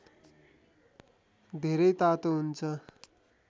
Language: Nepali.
धेरै तातो हुन्छ